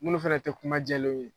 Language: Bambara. Munnu fana tɛ kuma jɛlenw ye